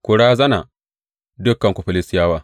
Ku razana, dukanku Filistiyawa!